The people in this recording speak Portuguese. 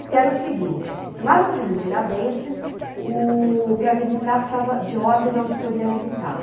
Porque era o seguinte, lá no presídio Tiradentes, oh, para visitar precisava de ordem da auditoria militar.